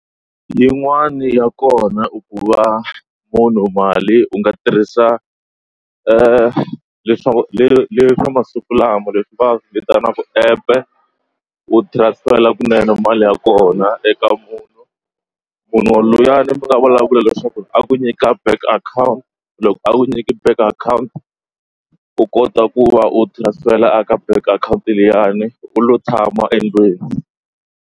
Yin'wani ya kona i ku va munhu mali u nga tirhisa leswaku leyi swa masiku lama leswi va vitanaka app u transfer kunene mali ya kona eka munhu munhu luyani mi nga vulavula leswaku a ku nyika bank account loko a wu nyiki bank account u kota ku va u tirhisela a ka bank account leyiwani u lo tshama endlwini.